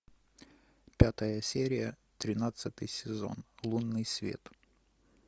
пятая серия тринадцатый сезон лунный свет